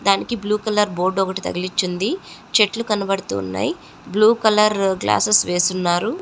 దానికి blue colour board ఒకటి తగిలించి ఉంది. చెట్లు కనబడుతూ ఉన్నాయ్. Blue colour glasses వేసున్నారు.